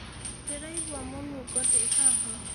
Ndĩraigua mũnungo ndĩ haha.